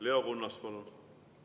Leo Kunnas, palun!